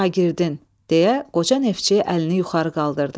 şagirdin, deyə qoca neftçi əlini yuxarı qaldırdı.